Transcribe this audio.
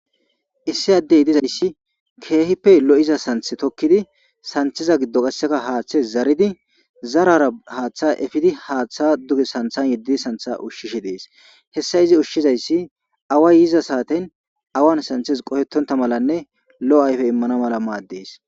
issi addey nizayssi keehippe lo7iza santhe tokkidi santheza giddo qasseka haaththes zaridi zarara haaththa efidi haaththa duge santhan yeddidi santha ushshishe dees hessa izi ushshizayssi away yiza saaten awan santhes qohetonta malanne lo7o ayfe immana mala maaddees